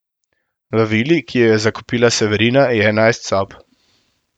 V vili, ki jo je zakupila Severina, je enajst sob.